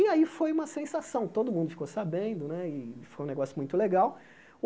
E aí foi uma sensação, todo mundo ficou sabendo né, e foi um negócio muito legal.